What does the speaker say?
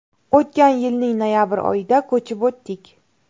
O‘tgan yilning noyabr oyida ko‘chib o‘tdik.